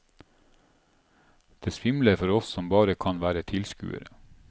Det svimler for oss som bare kan være tilskuere.